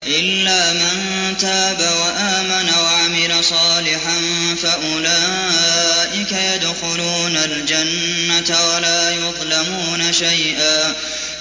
إِلَّا مَن تَابَ وَآمَنَ وَعَمِلَ صَالِحًا فَأُولَٰئِكَ يَدْخُلُونَ الْجَنَّةَ وَلَا يُظْلَمُونَ شَيْئًا